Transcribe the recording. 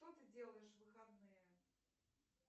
что ты делаешь в выходные